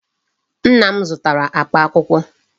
Nna m zụtara akpa akwụkwọ.